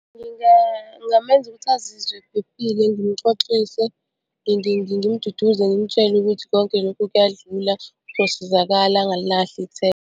Ngingamenza ukuthi azizwe ephephile, ngimuxoxise ngimduduze ngimtshele ukuthi konke lokhu kuyadlula uzosizakala angalilahli ithemba.